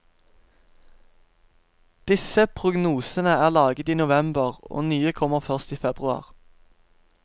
Disse prognosene er laget i november, og nye kommer først i februar.